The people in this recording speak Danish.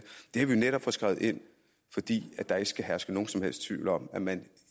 har vi jo netop fået skrevet ind fordi der ikke skal herske nogen som helst tvivl om at man